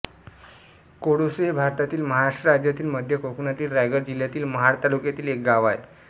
कोळोसे हे भारतातील महाराष्ट्र राज्यातील मध्य कोकणातील रायगड जिल्ह्यातील महाड तालुक्यातील एक गाव आहे